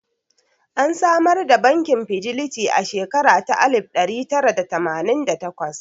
An samar da bankin Fidelity a shekara ta alif ɗari tara da tamanin da takwas